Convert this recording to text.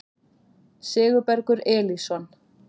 Sigurbergur Elísson